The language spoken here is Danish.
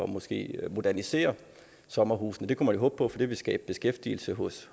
måske at modernisere sommerhusene det kan man håbe på for det vil skabe beskæftigelse hos